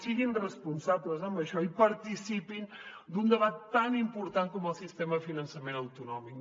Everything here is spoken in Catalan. siguin responsables en això i participin d’un debat tan important com el del sistema de finançament autonòmic